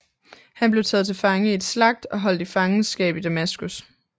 Han blev taget til fange i et slagt og holdt i fangenskab i Damaskus